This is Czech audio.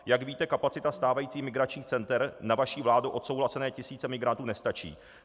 Jak víte, kapacita stávajících migračních center na vaší vládou odsouhlasené tisíce migrantů nestačí.